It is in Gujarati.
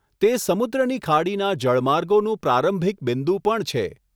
તે સમુદ્રની ખાડીના જળમાર્ગોનું પ્રારંભિક બિંદુ પણ છે.